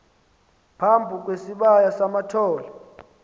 phambi kwesibaya samathole